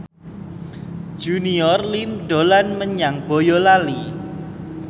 Junior Liem dolan menyang Boyolali